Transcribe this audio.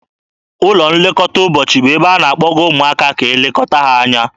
Ụlọ nlekọta ụbọchị bụ ebe a na-akpọga ụmụaka ka e lekọta ha anya.